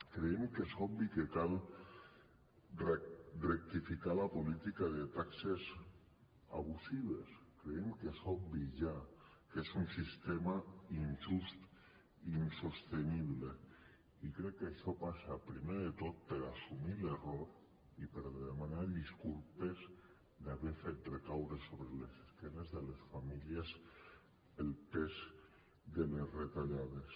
creiem que és obvi que cal rectificar la política de taxes abusives creiem que és obvi ja que és un sistema injust i insostenible i crec que això passa primer de tot per assumir l’error i per demanar disculpes d’haver fet recaure sobre l’esquena de les famílies el pes de les retallades